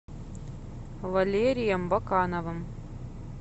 валерием бакановым